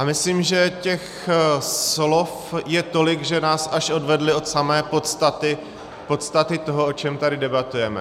A myslím, že těch slov je tolik, že nás až odvedla od samé podstaty, podstaty toho, o čem tady debatujeme.